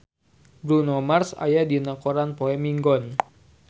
Bruno Mars aya dina koran poe Minggon